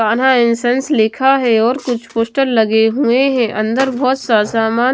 Kanha incense लिखा है और कुछ पोस्टर लगे हुए हैं अंदर बहोत सा सामान--